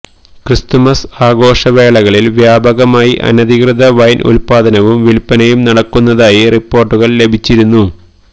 Christmas ആഘോഷവേളകളിൽ വ്യാപകമായി അനധികൃത വൈൻ ഉല്പാദനവും വില്പനയും നടക്കുന്നതായി റിപ്പോർട്ടുകൾ ലഭിച്ചിരുന്നു